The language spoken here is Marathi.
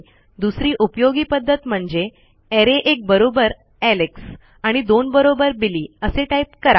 दुसरी उपयोगी पध्दत म्हणजे अरे एक बरोबर एलेक्स आणि दोन बरोबर बिली असे टाईप करा